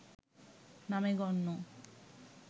নামে গণ্য